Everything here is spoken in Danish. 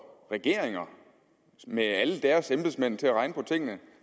regeringer med alle deres embedsmænd til at regne på tingene